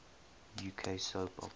uk soap operas